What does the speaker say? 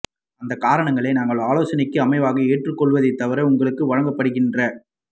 அந்த காரணங்களை நாங்கள் ஆலோசனைக்கு அமைவாக ஏற்றுக்கொள்ளுவதை தவிர உங்களுக்கு வழங்கப்படுகின்ற